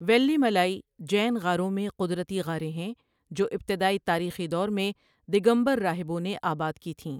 ویلیمالائی جین غاروں میں قدرتی غاریں ہیں جو ابتدائی تاریخی دور میں دگمبر راہبوں نے آباد کی تھیں۔